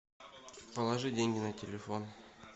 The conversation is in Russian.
положи деньги на телефон